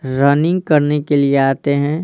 Running करने के लिए आते हैं।